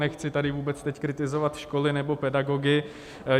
Nechci tady teď vůbec kritizovat školy nebo pedagogy.